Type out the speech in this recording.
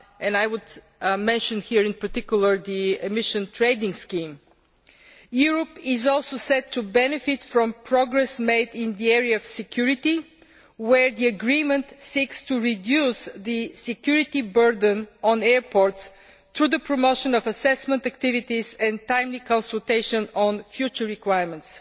I would mention here, in particular, the emission trading scheme. Europe is also set to benefit from progress made in the area of security, where the agreement seeks to reduce the security burden on airports through the promotion of assessment activities and timely consultation on future requirements.